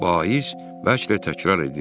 Vaiz bəlkə də təkrarlayırdı.